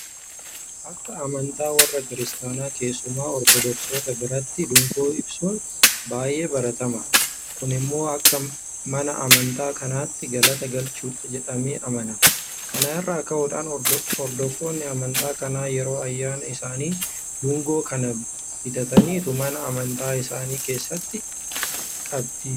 Akka amantaa warra Kiristaanitaa keessumaa Ortodoksoota biratti dungoo ibsuun baay'ee baratamaadha. Kun immoo akka mana amantaa kanaatti galata galchuudha jedhamee amanama. Kana irraa ka'uudhaan hordoftoonni amantaa kanaa yeroo ayyaana isaanii Dungoo kana bitataniitu mana amantaa isaanii keessatti qabdiifatu.